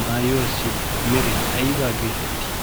maayuwaasi meray aybaa geetettii